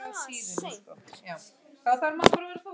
Ekki spyrja að neinu!